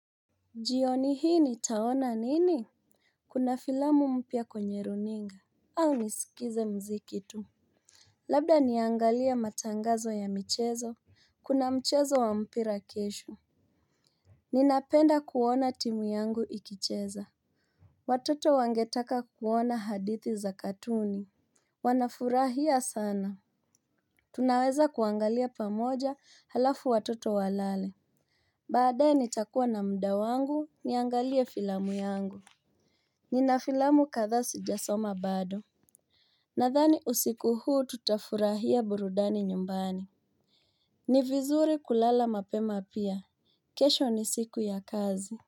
Jioni hii nitaona nini. Kuna filamu mpya kwenye runinga au niskize mziki tu. Labda niangalie matangazo ya michezo. Kuna mchezo wa mpira kesho. Ninapenda kuona timu yangu ikicheza. Watoto wangetaka kuona hadithi za katuni. Wanafurahia sana. Tunaweza kuangalia pamoja alafu watoto walale. Baadaye nitakuwa na mda wangu niangalie filamu yangu. Nina filamu kathaa sijasoma bado. Nathani usiku huu tutafurahia burudani nyumbani. Ni vizuri kulala mapema pia kesho ni siku ya kazi.